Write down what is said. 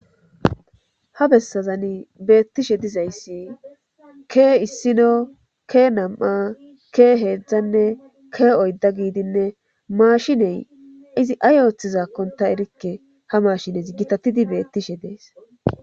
Ha bessazan beettishe dizayssi ke issino ke nam'a ke heedzdzanne ke oyda giidinne maashiney izi ay ooththizaakkon ta erikke ha mashinez gitatidi beettishe dees.